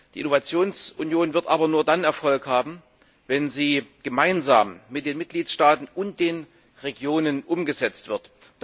Die Innovationsunion wird aber nur dann Erfolg haben, wenn sie gemeinsam mit den Mitgliedstaaten und den Regionen umgesetzt wird.